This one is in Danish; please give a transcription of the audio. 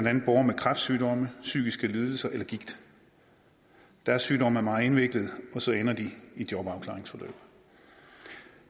andet borgere med kræftsygdomme psykiske lidelser eller gigt deres sygdomme er meget indviklede og så ender de i et jobafklaringsforløb